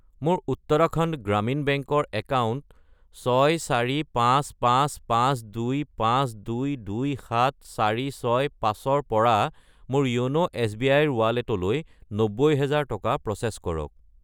মোৰ উত্তৰাখণ্ড গ্ৰামীণ বেংক ৰ একাউণ্ট 6455525227465 ৰ পৰা মোৰ য়োন' এছ.বি.আই. ৰ ৱালেটলৈ 90000 টকা প্ৰ'চেছ কৰক।